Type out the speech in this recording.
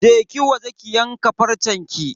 Je ki waje ki yanka farcenki.